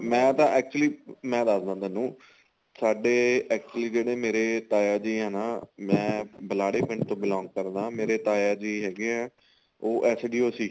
ਮੈਂ ਤਾਂ actually ਮੈਂ ਦੱਸਦਾ ਤੁਹਾਨੂੰ ਸਾਡੇ actually ਜਿਹੜੇ ਮੇਰੇ ਤਾਇਆ ਜੀ ਏ ਨਾ ਮੈਂ ਬਿਲਾਰੇ ਪਿੰਡ ਤੋਂ belong ਕਰਦਾ ਮੇਰੇ ਤਾਇਆ ਜੀ ਹੈਗੇ ਏ ਉਹ SDO ਸੀ